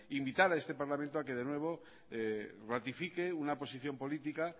invitar a este parlamento a que de nuevo ratifique una posición política